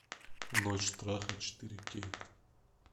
ночь страха четыре кей